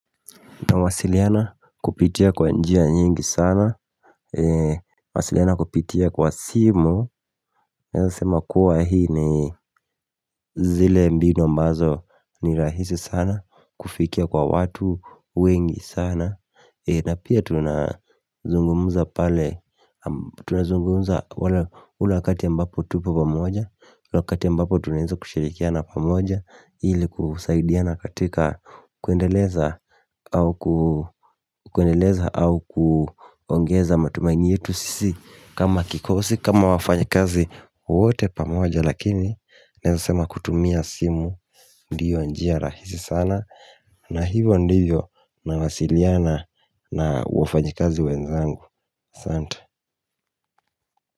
Na wasiliana kupitia kwa njia nyingi sana Nawasiliana kupitia kwa simu Nawezasema kuwa hizi ni zile mbinu ambazo ni rahisi sana kufikia kwa watu wengi sana, na pia tunazungumuza pale Tunazungumuza ule wakati ambapo tupo pamoja na wakati ambapo tunaweza kushirikiana pamoja ili kusaidiana katika kuendeleza kuendeleza au kuongeza matumaini yetu sisi kama kikosi, kama wafanyakazi wote pamoja lakini naweza sema kutumia simu ndiyo njia rahisi sana na hivyo ndivyo nawasiliana na wafanyikazi wenzangu, Asante.